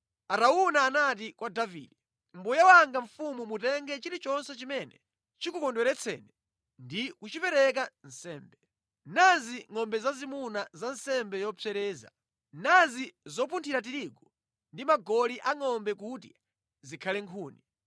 Arauna anati kwa Davide, “Mbuye wanga mfumu mutenge chilichonse chimene chikukondweretseni ndi kuchipereka nsembe. Nazi ngʼombe zazimuna za nsembe yopsereza, nazi zopunthira tirigu ndi magoli angʼombe kuti zikhale nkhuni.